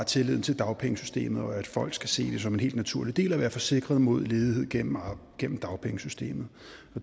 tilliden til dagpengesystemet og at folk skal se det som en helt naturlig del af at være forsikret mod ledighed gennem gennem dagpengesystemet